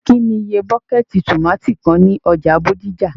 kí ni iye bọ́kẹ́tì tomátì kan ní ọjà Bódìjà?